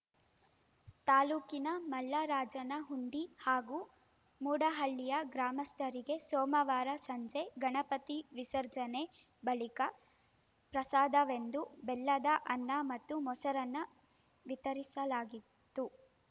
ತಾಲೂಕಿನ ಮಲ್ಲರಾಜನಹುಂಡಿ ಹಾಗೂ ಮೂಡಹಳ್ಳಿಯ ಗ್ರಾಮಸ್ಥರಿಗೆ ಸೋಮವಾರ ಸಂಜೆ ಗಣಪತಿ ವಿಸರ್ಜನೆ ಬಳಿಕ ಪ್ರಸಾದವೆಂದು ಬೆಲ್ಲದ ಅನ್ನ ಮತ್ತು ಮೊಸರನ್ನ ವಿತರಿಸಲಾಗಿತ್ತು